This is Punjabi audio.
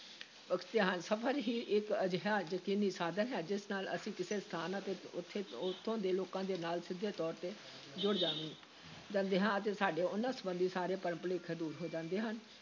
ਸਫ਼ਰ ਹੀ ਇਕ ਅਜਿਹਾ ਯਕੀਨੀ ਸਾਧਨ ਹੈ, ਜਿਸ ਨਾਲ ਅਸੀਂ ਕਿਸੇ ਸਥਾਨ ਅਤੇ ਉੱਥੇ ਉੱਥੋਂ ਦੇ ਲੋਕਾਂ ਦੇ ਨਾਲ ਸਿੱਧੇ ਤੌਰ ‘ਤੇ ਜੁੜ ਜਾਂਦੇ ਜਾਂਦੇ ਹਾਂ ਅਤੇ ਸਾਡੇ ਉਨ੍ਹਾਂ ਸੰਬੰਧੀ ਸਾਰੇ ਭਰਮ-ਭੁਲੇਖੇ ਦੂਰ ਹੋ ਜਾਂਦੇ ਹਨ।